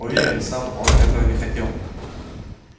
уверен сам он этого не хотел